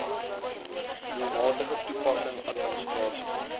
doelmatige toepassing administrasie